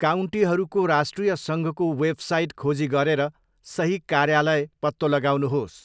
काउन्टीहरूको राष्ट्रिय सङ्घको वेबसाइट खोजी गरेर सही कार्यालय पत्तो लगाउनुहोस्।